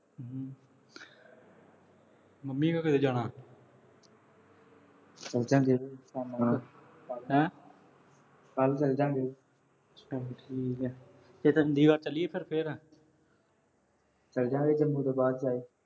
ਕਦੋਂ ਜਾਣਾ। ਸੋਚਣ ਦੇ ਹੈਂ। ਕੱਲ੍ਹ ਚਲ-ਜਾਂ ਗੇ। ਚੱਲ ਠੀਕ ਐ। ਤੇ ਚੰਡੀਗੜ੍ਹ ਚਲੀਏ ਫੇਰ ਅਹ ਫੇਰ। ਚੱਲ-ਜਾਂ ਗੇ, ਜੰਮੂ ਤੋਂ ਬਾਅਦ ਫਿਰ